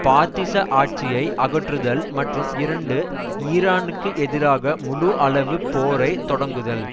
பாத்திச ஆட்சியை அகற்றுதல் மற்றும் இரண்டு ஈரானுக்கு எதிராக முழு அளவு போரை தொடங்குதல்